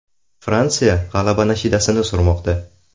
Fransiya g‘alaba nashidasini surmoqda.